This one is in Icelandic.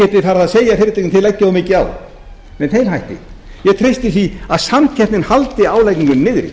að segja fyrirtækjum þið leggið of mikið á með þeim hætti ég treysti því að samkeppnin haldi álagningunni niðri